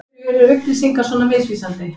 Af hverju er upplýsingar svona misvísandi?